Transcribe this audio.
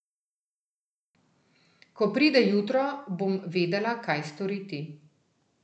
Ko pride jutro, bom vedela, kaj storiti.